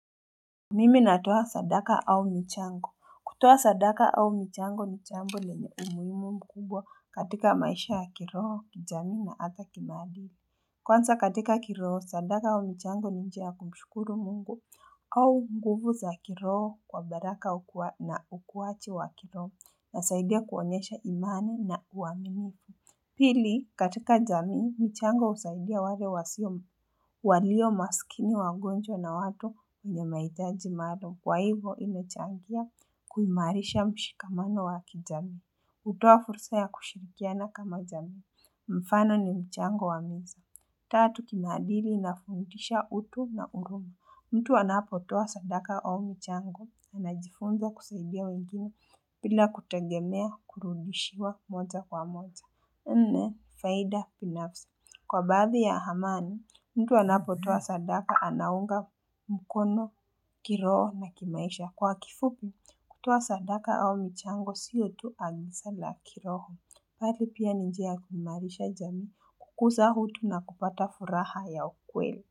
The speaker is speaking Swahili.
Mimi natoa sadaka au michango kutoa sadaka au michango ni jambo lenye umuhimu mkubwa katika maisha ya kiroho kijamii na ata kimaadili Kwanza katika kiroho sadaka au michango ni jia ya kumshukuru mungu au nguvu za kiroho kwa baraka na ukuwaji wa kiroho na saidia kuonyesha imani na uaminifu Pili katika jamii, michango husaidia wale wasio walio maskini wagonjwa na watu wenye mahitaji maalum kwa hivo imechangia kuimarisha mshikamano wa ki jamii. Utoa fursa ya kushirikiana kama jamii. Mfano ni mchango wa miza. Tatu kinaadili inafundisha utu na huruma mtu anapotoa sadaka au mchango. Anajifunza kusaidia wengine bila kutegemea kurudishiwa moja kwa moja. Nne faida binafsi kwa baadhi ya amani mtu anapotoa sadaka anaunga mkono kiroho na kimaisha kwa kifupi kutoa sadaka au michango sio tu agisa la kiroho bali pia ni njia ya kuimarisha jamii kukuza utu na kupata furaha ya ukweli.